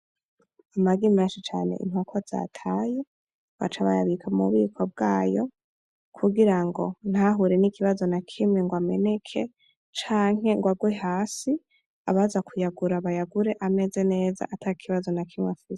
Amagi menshi cane inkoko zataye baca bayabika m'ububiko bwayo, kugira ngo ntahure n'ikibazo na kimwe ngo ameneke canke ngo agwe hasi abaza kuyagura bayagure ameze neza atakibazo na kimwe afise.